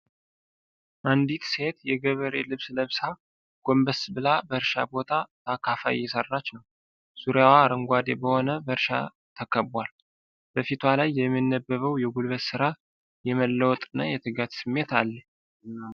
አንዲት ሴት የገበሬ ልብስ ለብሳ፣ ጐንበስ ብላ በእርሻ ቦታ በአካፋ አየሠራች ነው። ዙሪያዋ አረንጓዴ በሆነ በእርሻ ተከቧል። በፊቷ ላይ የሚነበበው የጉልበት ሥራ፣ የመለወጥ እና የትጋትን ስሜት አለ።